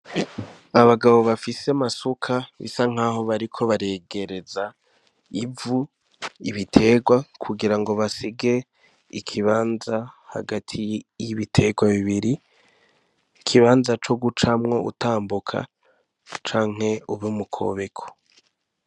Abagabo bafise amasuka bisa nk'aho bariko baregereza ivu ibiterwa kugira ngo basige ikibanza hagati y'ibiterwa bibiri ikibanza co gucamwo utambuka canke ubimukobeko.